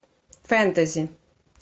фэнтези